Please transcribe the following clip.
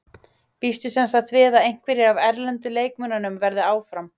Býstu semsagt við að einhverjir af erlendu leikmönnunum verði áfram?